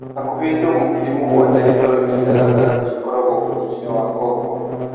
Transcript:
Hakũhi njogu ngiri mũgwanja gĩtaroinĩ gĩa gatagatĩ ikoragwo bũrũri-inĩwa Kongo.